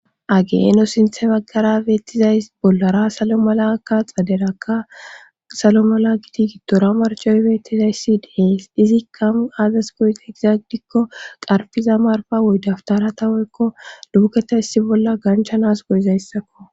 Hagee nu sinthe baggara beettizays bollara salo mala kka xaderakka salo mala gidi gidtora marcoy beettizayssi dees izikkau aazas goy egizaagidikko qarfiza marfa wuydaftara tawoykko duuketa issi bolla ganchanas goyizayssako.